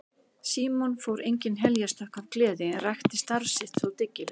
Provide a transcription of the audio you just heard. Símon fór engin heljarstökk af gleði en rækti starf sitt þó dyggilega.